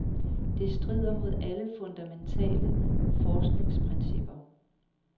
Det strider mod alle fundamentale forskningsprincipper.